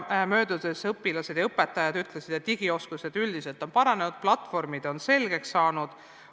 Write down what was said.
Õpilased ja õpetajad ütlesid, et digioskused on üldiselt paranenud, platvormid on selgeks saanud.